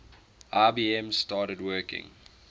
ibm started working